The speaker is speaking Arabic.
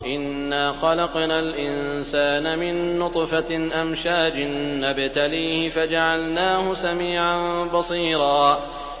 إِنَّا خَلَقْنَا الْإِنسَانَ مِن نُّطْفَةٍ أَمْشَاجٍ نَّبْتَلِيهِ فَجَعَلْنَاهُ سَمِيعًا بَصِيرًا